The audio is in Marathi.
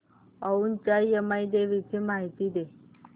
औंधच्या यमाई देवीची मला माहिती दे